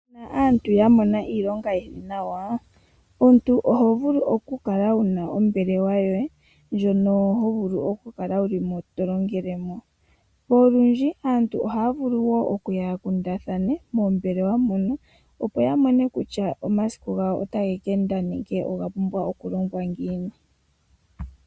Ngele aantu yamona iilonga iiwanawa, omuntu ohovulu okukala wuna ombelewa yoye ndjono hovulu okukala tolongelemo. Olundji aantu ohaya ningi oonkundwa moombelewa mono dhinasha niilonga.